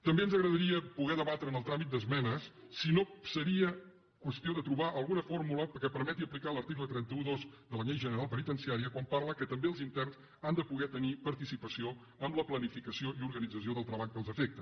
també ens agradaria poder debatre en el tràmit d’esmenes si no seria qüestió de trobar alguna fórmula que permeti aplicar l’article tres cents i dotze de la llei general penitenciària quan parla que també els interns han de poder tenir participació en la planificació i organització del treball que els afecta